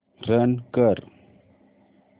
run कर